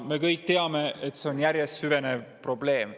Me kõik teame, et see on järjest süvenev probleem.